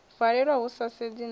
valelwa hu sa sedzi na